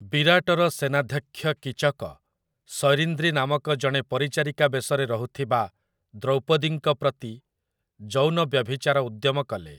ବିରାଟର ସେନାଧ୍ୟକ୍ଷ କୀଚକ, ସୈରିନ୍ଦ୍ରୀ ନାମକ ଜଣେ ପରିଚାରିକା ବେଶରେ ରହୁଥିବା ଦ୍ରୌପଦୀଙ୍କ ପ୍ରତି ଯୌନ ବ୍ୟଭିଚାର ଉଦ୍ୟମ କଲେ ।